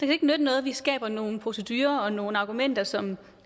jo ikke nytte noget at vi skaber nogle procedurer og nogle argumenter som